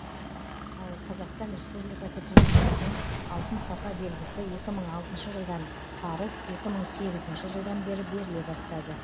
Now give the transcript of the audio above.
ал қазақстан республикасы президентінің алтын сапа белгісі екі мың алтыншы жылдан парыз екі мың сегізінші жылдан бері беріле бастады